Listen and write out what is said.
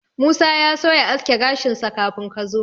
Musa ya so ya aske gashinsa kafin ka zo.